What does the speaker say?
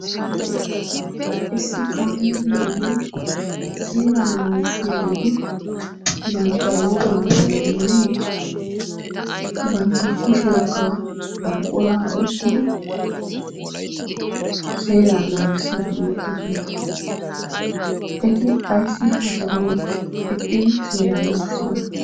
Issi kaamee biyo ogiyan seeraa naagissiyaageeti bantta wogaa maayuwa maayidi bantta kushshiyankka buquraa oykkidi seeraa naagissidi bettoosona. Eti ayssi ha sohuwn eqqidi seeraa naaggissiyona?